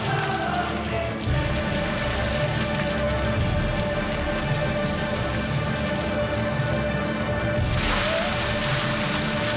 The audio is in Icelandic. við